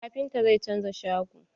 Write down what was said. Kafintan zai canza shago.